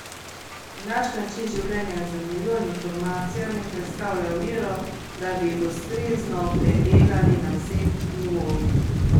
Naš način življenja z milijon informacijami predstavlja oviro, da bi jih ustrezno predelali na vseh nivojih.